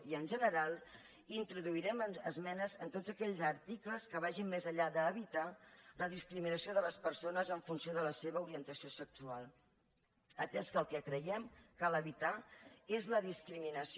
i en general introduirem esmenes en tots aquells articles que vagin més enllà d’evitar la discriminació de les persones en funció de la seva orientació sexual atès que el que creiem que cal evitar és la discriminació